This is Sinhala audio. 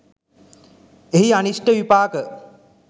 එහි අනිෂ්ට විපාක